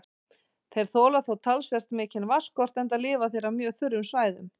Þeir þola þó talsvert mikinn vatnsskort enda lifa þeir á mjög þurrum svæðum.